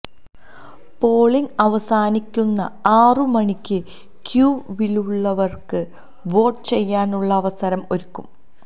polling അവസാനിക്കുന്ന ആറു മണിക്ക് ക്യൂവിലുള്ളവർക്കും വോട്ട് ചെയ്യാനുള്ള അവസരം ഒരുക്കും